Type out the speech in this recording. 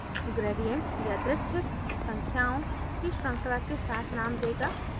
gradient यादृच्छिक संख्याओं की श्रृंखला के साथ name देगा